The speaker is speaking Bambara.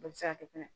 Bɛɛ bɛ se ka kɛ fɛnɛ